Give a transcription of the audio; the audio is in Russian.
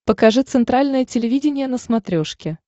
покажи центральное телевидение на смотрешке